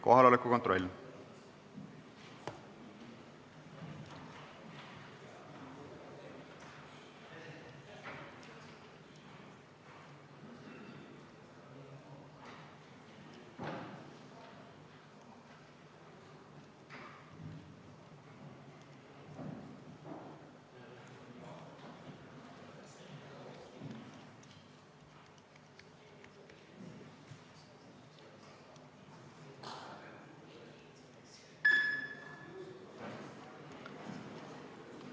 Kohaloleku kontroll